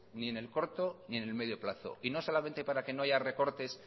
ni el corto ni el medio plazo y no solamente para que no haya recortes